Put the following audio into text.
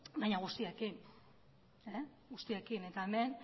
baina guztiekin eta hemen